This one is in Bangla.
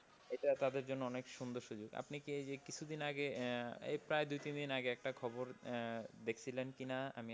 এটা তাদের জন্য অনেক সুন্দর সুযোগ। আপনি কি এই যে কিছুদিন আগে এই প্রায় দুই তিন দিন আগে একটা খবর দেখছিলেন কিনা আমি,